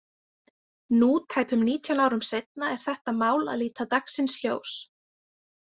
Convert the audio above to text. Nú tæpum nítján árum seinna er þetta mál að líta dagsins ljós.